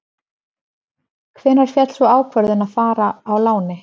Hvenær féll sú ákvörðun að fara á láni?